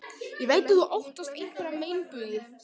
Ég veit að þú óttast einhverja meinbugi.